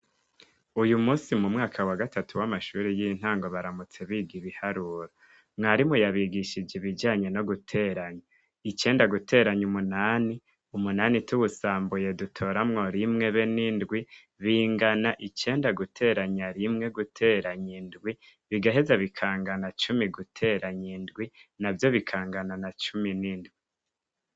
Uyu munsi mu mwaka wa gatatu w'amashure y'intango baramutse biga ibiharuro, mwarimu yabigishije ibijanye no guteranya. Icenda guteranya umunani, umunani tuwusambuye dutoramwo rimwe be n'indwi, bingana icenda guteranya rimwe guteranya indwi, bigaheza bikangana cumi guteranya indwi, na vyo bikangana na cumi n'indwi.